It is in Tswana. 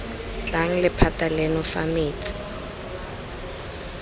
tlang lephata leno fa metsi